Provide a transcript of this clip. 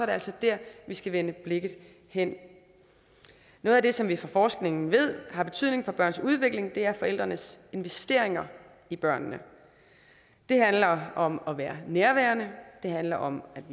det altså der vi skal vende blikket hen noget af det som vi fra forskningen ved har betydning for børns udvikling er forældrenes investeringer i børnene det handler om at være nærværende det handler om